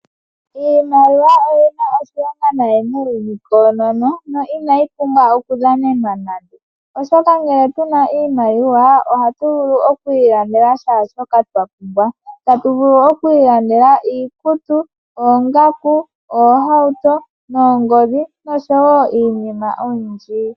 Iimaliwa oyina oshilonga nayi muuyuni koonono na inayi pumbwa oku dhanenwa nande, oshoka ngele tuna iimaliwa ohatu vulu oku ilandela kehe shoka twapumbwa . Tatu vulu oku ilandela iikutu, oongaku, ohauto noongodhi noshowo iinima oyindji .